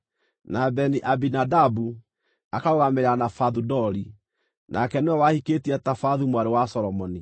na Beni-Abinadabu akarũgamĩrĩra Nafathu-Dori (nake nĩwe wahikĩtie Tafathu mwarĩ wa Solomoni);